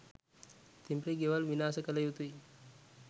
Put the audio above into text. තිඹිරි ගෙවල් විනාශ කලයුතුයි.